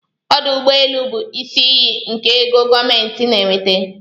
Ọdụ ụgbọelụ bụ isi iyi nke ego gọọmentị na-enweta.